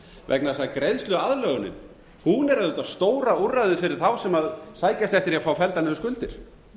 vegna þess að greiðsluaðlögunin er auðvitað stóra úrræðið fyrir þá sem sækjast eftir því að fá felldar niður skuldir